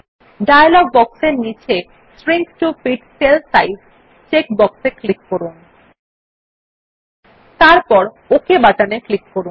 dialogue বক্সের নীচে shrink to fit cell size check box র ক্লিক করুন এবং তারপর ওক বাটনে ক্লিক করুন